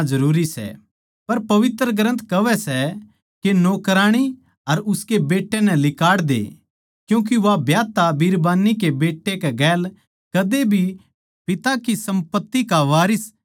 पर पवित्र ग्रन्थ कहवै सै के नौकराणी अर उसकै बेट्टे नै लिकाड़ दे क्यूँके वो ब्याहता बिरबान्नी के बेट्टे कै गेल कदे भी पिता की सम्पत्ति के वारिस न्ही होगा